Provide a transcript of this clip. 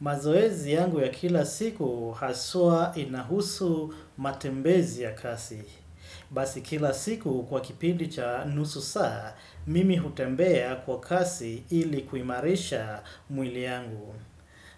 Mazoezi yangu ya kila siku haswa inahusu matembezi ya kasi. Basi kila siku kwa kipindi cha nusu saa, mimi hutembea kwa kasi ili kuhimarisha mwili yangu.